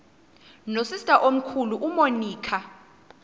nosister omkhulu umonica